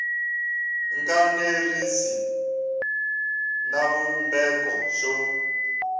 nga enerisi na xivumbeko xo